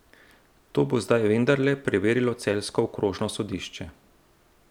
To bo zdaj vendarle preverilo celjsko okrožno sodišče.